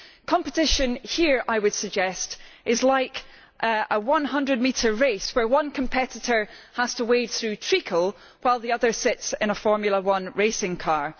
Competition here, I would suggest, is like a 100 metre race where one competitor has to wade through treacle while the other sits in a Formula One racing car.